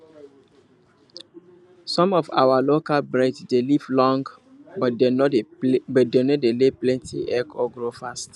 some of our local breed dey live long but dem no dey lay plenty egg or grow fast